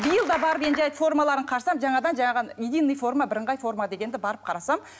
биыл да барып енді жарайды формаларын қарасам жаңадан единный форма бірыңғай форма дегенді барып қарасам